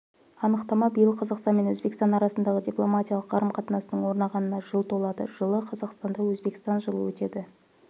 анықтама биыл қазақстан мен өзбекстан арасындағы дипломатиялық қарым-қатынастың орнағанына жыл толады жылы қазақстанда өзбекстан жылы өтеді